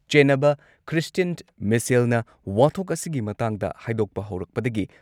ꯆꯦꯟꯅꯕ Christian ꯃꯤꯁꯦꯜꯅ ꯋꯥꯊꯣꯛ ꯑꯁꯤꯒꯤ ꯃꯇꯥꯡꯗ ꯍꯥꯏꯗꯣꯛꯄ ꯍꯧꯔꯛꯄꯗꯒꯤ